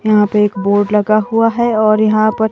यहाँ पे एक बोर्ड लगा हुवा हैं और यहाँ पर--